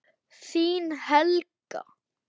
Þín, Helga.